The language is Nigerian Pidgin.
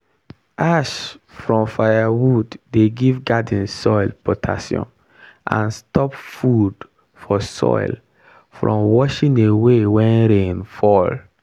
ash from firewood dey give garden soil potassium and stop food for soil from washing away when rain fall.